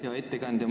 Hea ettekandja!